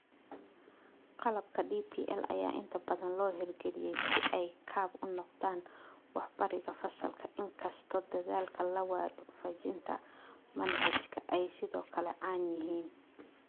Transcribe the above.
Qalabka DPL ayaa inta badan loo hirgeliyay si ay kaab u noqdaan wax-barida fasalka, in kastoo dadaalka la waafajinta manhajka ay sidoo kale caan yihiin.